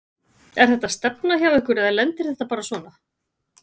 Er þetta stefna hjá ykkur eða lendir þetta bara svona?